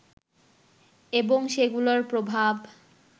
এবং সেগুলোর প্রভাব